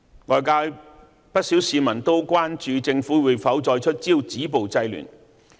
外界不少市民都關注政府會否再出招止暴制亂。